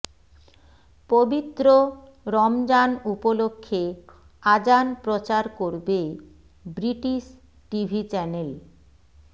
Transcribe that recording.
পবিত্র রমজান উপলক্ষে আজান প্রচার করবে ব্রিটিশ টিভি চ্যানেল